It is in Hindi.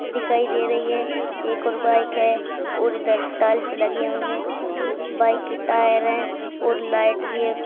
दिखाई दे रही है एक और बाइक है और इधर टाइल्स लगी हुई है बाइक के टायर हैं और लाइट भी है।